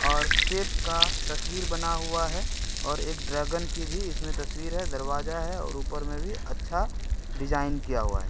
और सेफ का तस्वीर बना हुआ है और एक ड्रैगन की भी इसमें तस्वीर है दरवाजा है और उपर में भी अच्छा डिज़ाइन किया हुआ है।